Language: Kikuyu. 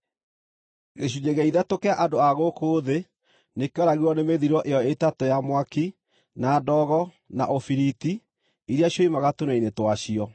Gĩcunjĩ gĩa ithatũ kĩa andũ a gũkũ thĩ nĩkĩoragirwo nĩ mĩthiro ĩyo ĩtatũ ya mwaki, na ndogo, na ũbiriti iria cioimaga tũnua-inĩ twacio.